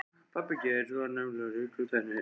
Pabbi Geirs var nefnilega ríkur tannlæknir.